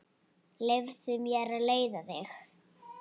Leyfðu mér að leiða þig.